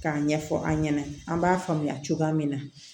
K'a ɲɛfɔ an ɲɛna an b'a faamuya cogoya min na